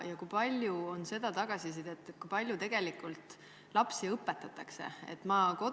Ja kui palju on tagasisidet selle kohta, kui palju tegelikult lapsi õpetatakse?